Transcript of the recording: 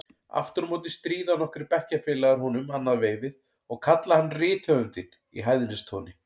Aftur á móti stríða nokkrir bekkjarfélagar honum annað veifið og kalla hann rithöfundinn í hæðnistóni.